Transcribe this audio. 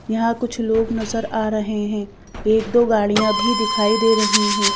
यहां कुछ लोग नजर आ रहे हैं एक दो गाड़ियां भी दिखाई दे रही हैं।